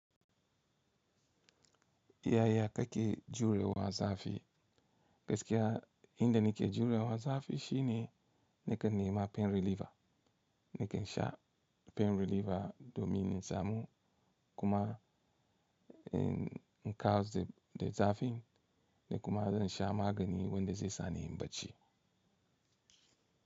Yaya kake jurewa zafi? Gaskiya, inda nake jurewa zafi shine nakan nema pain reliever. Nakan sha pain reliever domin insamu kuma in in kawarda zafin da kuma zan sha magani wanda zai sa ni in bacci.